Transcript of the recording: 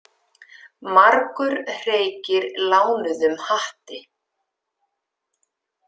Margur hreykir lánuðum hatti.